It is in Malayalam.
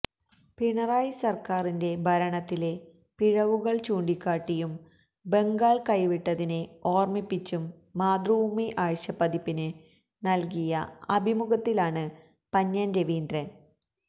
പിണറായി സര്ക്കാരിന്റെ ഭരണത്തിലെ പിഴവുകള് ചൂണ്ടിക്കാട്ടിയും ബംഗാള് കൈവിട്ടതിനെ ഓര്മ്മിപ്പിച്ചും മാതൃഭൂമി ആഴ്ച്ചപ്പ്തിപ്പിന് നല്കിയ അഭിമുഖത്തിലാണ് പന്ന്യന് രവീന്ദ്രന്